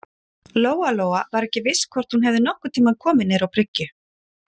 Lóa-Lóa var ekki viss hvort hún hefði nokkurn tíma komið niður á bryggju.